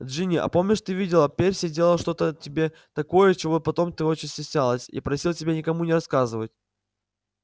джинни а помнишь ты видела перси делал что-то тебе такое чего потом ты очень стеснялась и просил тебя никому не рассказывать